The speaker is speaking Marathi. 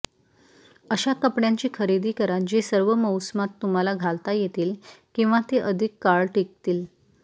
अशा कपड्यांची खरेदी करा जे सर्व मौसमात तुम्हाला घालता येतील किंवा ते अधिक काळ टिकतील